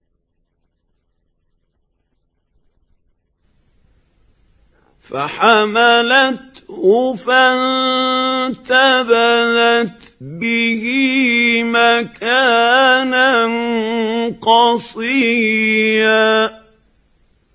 ۞ فَحَمَلَتْهُ فَانتَبَذَتْ بِهِ مَكَانًا قَصِيًّا